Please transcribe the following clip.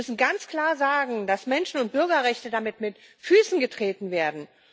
Wir müssen ganz klar sagen, dass Menschen und Bürgerrechte damit mit Füßen getreten werden.